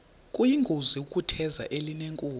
kuyingozi ukutheza elinenkume